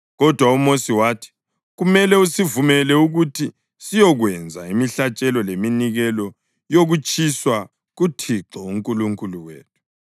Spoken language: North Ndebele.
Kodwa uMosi wathi, “Kumele usivumele ukuthi siyokwenza imihlatshelo leminikelo yokutshiswa kuThixo uNkulunkulu wethu.